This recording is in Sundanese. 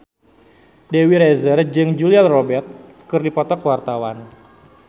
Dewi Rezer jeung Julia Robert keur dipoto ku wartawan